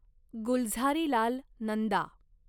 Gulzarilal Nanda